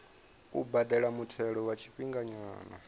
u badela muthelo wa tshifhinganyana